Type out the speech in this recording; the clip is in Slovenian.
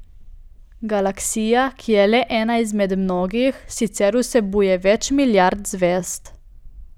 Galaksija, ki je le ena izmed mnogih, sicer vsebuje več milijard zvezd.